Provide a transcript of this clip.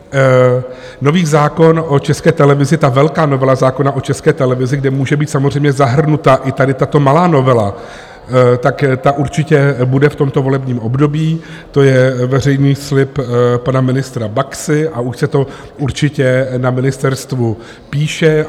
Nový zákon o České televizi, ta velká novela zákona o České televizi, kde může být samozřejmě zahrnuta i tady tato malá novela, tak ta určitě bude v tomto volebním období, to je veřejný slib pana ministra Baxy a už se to určitě na ministerstvu píše.